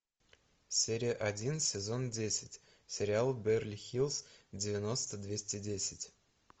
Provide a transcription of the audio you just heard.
серия один сезон десять сериал беверли хиллз девяносто двести десять